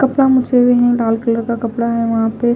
कपड़ा मुझे हुए हैं लाल कलर का कपड़ा है वहां पे--